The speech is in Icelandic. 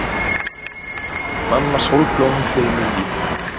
Mamma sólblómi fyrir miðju.